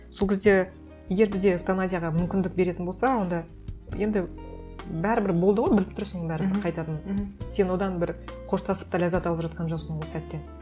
сол кезде егер бізде эвтаназияға мүмкіндік беретін болса онда енді бәрібір болды ғой біліп тұрсың бәрібір қайтатынын мхм сен одан бір қоштасып та ләззат алып жатқан жоқсың ол сәтте